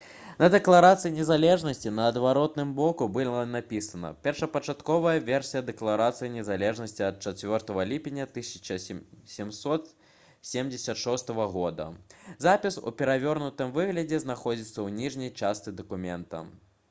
на дэкларацыі незалежнасці на адваротным боку былі напісана: «першапачатковая версія дэкларацыі незалежнасці ад 4 ліпеня 1776 года». запіс у перавернутым выглядзе знаходзіцца ў ніжняй частцы дакумента